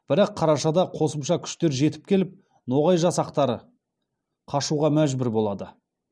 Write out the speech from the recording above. бірақ қарашада қосымша күштер жетіп келіп ноғай жасақтары қашуға мәжбүр болады